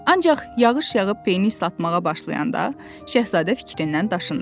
Ancaq yağış yağıb peyni islatmağa başlayanda, şahzadə fikrindən daşındı.